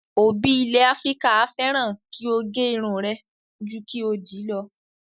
Òbí ilẹ̀ Áfíríkà a fẹ́ràn kí o gẹrun rẹ ju kí o dì í lọ.